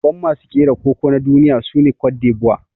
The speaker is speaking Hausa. Babban masu kera Koko na duniya sune Cote D'Ivoire.